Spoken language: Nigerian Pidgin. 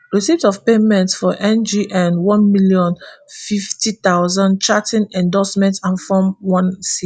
receipt of payment for ngn one million, fifty thousand charting endorsement and form onec